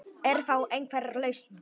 Er þá einhver lausn